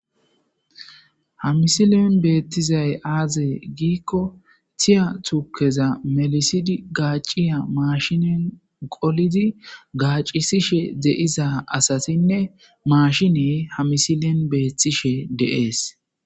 hamisilen beettizay aaze giikko tiya tukeza melisidi gaaciya maashinen qolidi gaacisishe de7iza asasinne maashiney hamisilen beettishe deees